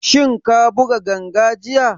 Shin ka buga ganga jiya?